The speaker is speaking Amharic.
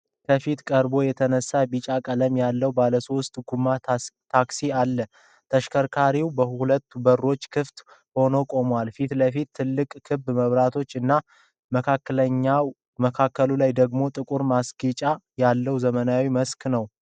ከፊት ቀርቦ የተነሳ ቢጫ ቀለም ያለው ባለሶስት ጎማ ታክሲ አለ። ተሽከርካሪው ሁለቱ በሮች ክፍት ሆነው ቁሟል። ፊት ለፊት ትላልቅ ክብ መብራቶች እና በመካከሉ ደግሞ ጥቁር ማስጌጫ ያለው ዘመናዊ መልክ አለው።